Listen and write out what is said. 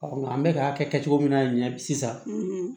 nka an bɛ ka kɛ cogo min na ɲɛ sisan